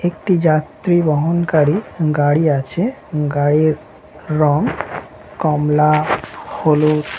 একটি যাত্রী বহনকারী গাড়ি আছে গাড়ির রং কমলা হ্লুদ।